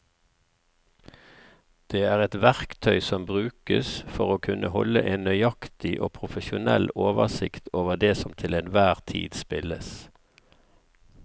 Det er et verktøy som brukes for å kunne holde en nøyaktig og profesjonell oversikt over det som til enhver tid spilles.